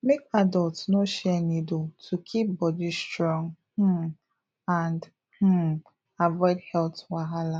make adults no share needle to keep body strong um and um avoid health wahala